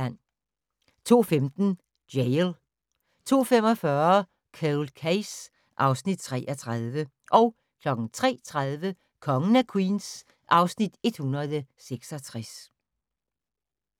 02:15: Jail 02:45: Cold Case (Afs. 33) 03:30: Kongen af Queens (Afs. 166)